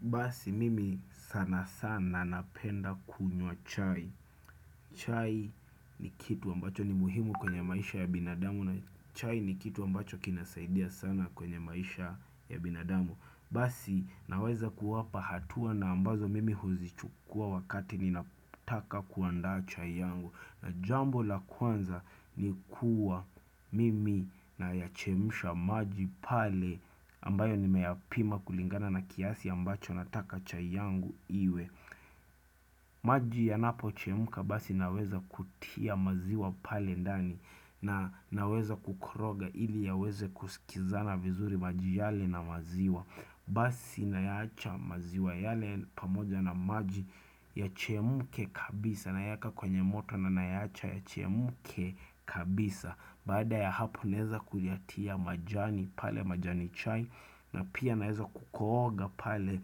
Basi mimi sana sana napenda kunywa chai. Chai ni kitu ambacho ni muhimu kwenye maisha ya binadamu na chai ni kitu ambacho kinasaidia sana kwenye maisha ya binadamu. Basi naweza kuwapa hatua na ambazo mimi huzichukua wakati ni nataka kuanda cha yangu na jambo la kwanza ni kuwa mimi na yachemusha maji pale ambayo ni meyapima kulingana na kiasi ambacho nataka cha yangu iwe maji yanapo chemka basi naweza kutia maziwa pale ndani na naweza kukoroga ili yaweze kusikizana vizuri maji yale na maziwa Basi nayaacha maziwa yale pamoja na maji yachemke kabisa na yaka kwenye moto na nayacha ya chemuke kabisa Baada ya hapo naeza kuyatia majani pale majani chai na pia naeza kukooga pale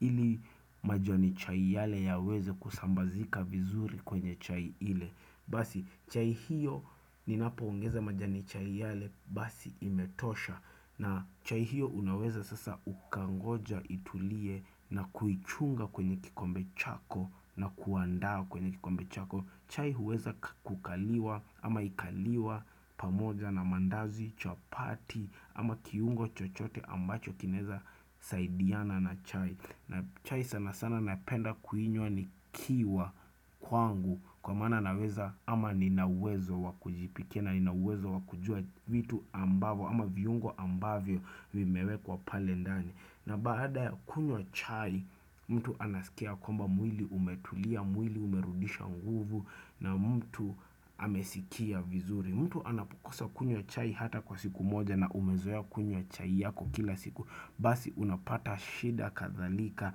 ili majani chai yale ya weze kusambazika vizuri kwenye chai ile Basi chai hiyo ni napo ongeza majani chai yale basi imetosha na chai hiyo unaweza sasa ukangoja itulie na kuichunga kwenye kikombe chako na kuandaa kwenye kikombe chako chai huweza kukaliwa ama ikaliwa pamoja na mandazi, chapati ama kiungo chochote ambacho kineza saidiana na chai na chai sana sana napenda kuinywa nikiwa kwangu kwa maana naweza ama ninauwezo wa kujipikia na ninauwezo wakujua vitu ambavyo ama viungo ambavyo vimewe kwa pale ndani. Na baada ya kunywa chai mtu anasikia kwamba mwili umetulia mwili umerudisha nguvu na mtu amesikia vizuri. Mtu anapukosa kunywa chai hata kwa siku moja na umezoea kunywa chai yako kila siku Basi unapata shida kathalika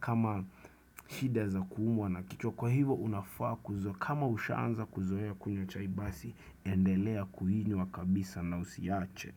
kama shida za kuumwa na kichwa kwa hivo unafaa kuzo kama ushaanza kuzoea kunywa chai basi endelea kuinywa kabisa na usiache.